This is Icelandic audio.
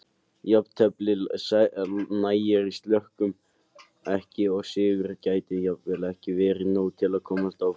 Jafntefli nægir Slóvökum ekki og sigur gæti jafnvel ekki verið nóg til að komast áfram.